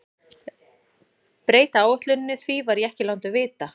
Breyta áætluninni, því var ég ekki látinn vita.